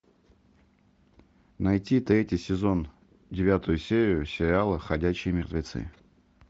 найти третий сезон девятую серию сериала ходячие мертвецы